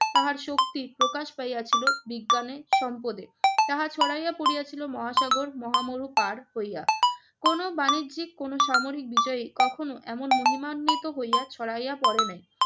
তাহার শক্তি প্রকাশ পাইয়াছিল বিজ্ঞানে, সম্পদে। তাহা ছড়াইয়া পড়িয়াছিল মহাসাগর, মহা মরু পাড় হইয়া। কোন বাণিজ্যিক, কোনো সামরিক বিজয়ী কখনো এমন মহিমান্বিত হইয়া ছড়াইয়া পড়ে নাই।